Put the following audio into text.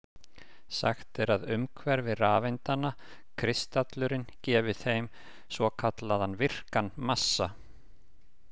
Sagt er að umhverfi rafeindanna, kristallurinn, gefi þeim svo kallaðan virkan massa.